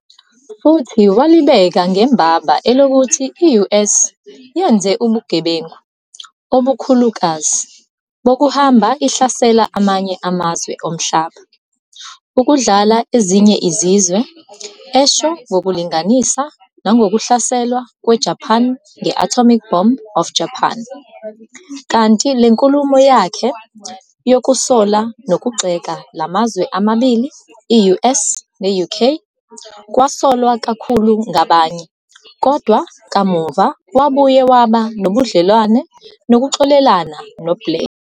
Futhi walibeka ngembaba elokuthi i-US yenze ubugebengu obukhulukazi bokuhamba ihlasela amanye amazwe omhlaba, ukudlala ezinye izizwe, esho ngokulinganisa nangokuhlaselwa kweJapan nge-atomic bombing of Japan, kanti le nkulumo yakhe yokusola nokugxeka la mazwe amabili i-US ne-UK, kwasolwa kakhulu ngabanye, kodwa kamuva wabuye waba nobudlelwane nokuxolelana no-Blair.